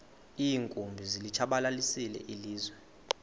iinkumbi zilitshabalalisile ilizwe